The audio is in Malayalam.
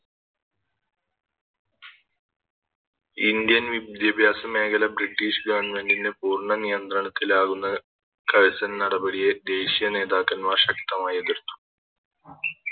Indian വിദ്യാഭ്യാസ മേഖല ബ്രിട്ടീഷ് Government ന് പൂർണ നിയന്ത്രണത്തിലാകുന്ന കൾസ്ൺ നടപടിയെ ദേശീയ നേതാക്കമ്മാർ ശക്തമായെതിർത്തു